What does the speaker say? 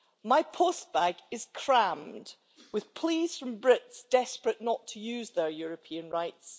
My postbag is crammed with pleas from Brits desperate not to lose their European rights.